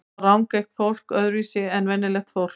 Sjá rangeygt fólk öðruvísi en venjulegt fólk?